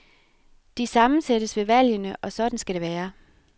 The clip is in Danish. De sammensættes ved valgene, og sådan skal det være.